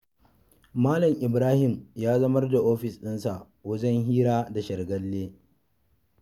Malam Ibrahim ya zamar da ofis ɗinsa wajen hira da shargalle.